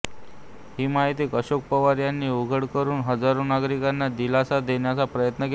ही माहिती अशोक पवार यांनी उघड करून हजारो नागरिकांना दिलासा देण्याचा प्रयत्न केला